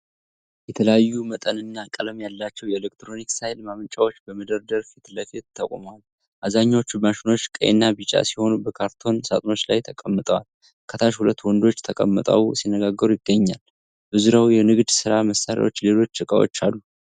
የተለያዩ መጠንና ቀለም ያላቸው የኤሌክትሪክ ኃይል ማመንጫዎች በመደብር ፊት ለፊት ተቆልለዋል። አብዛኛዎቹ ማሽኖች ቀይና ቢጫ ሲሆኑ በካርቶን ሣጥኖች ላይ ተቀምጠዋል። ከታች ሁለት ወንዶች ተቀምጠው ሲነጋገሩ ይገኛል። በዙሪያው የንግድ ሥራ መሣሪያዎችና ሌሎች ዕቃዎች አሉ።